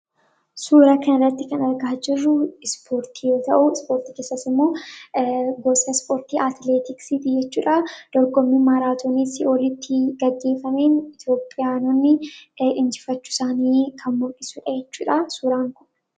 Suuraa kanarratti kan argaa jirru ispoortii yoo ta'u, ispoortii keessaas immoo gosa ispoortii atileetiksiiti jechuudha. Dorgommii maraatoonii sii'oolitti gaggeeffameen Itoophiyaanonni injifachuu isaanii kan ibsudha jechuudha suuraan kun.